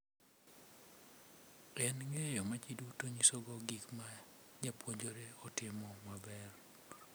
En ng’eyo ma ji duto nyisogo gik ma japuonjre otimo maber.